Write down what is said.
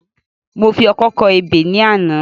Mo fi ọkọ́ kọ ebè ní àná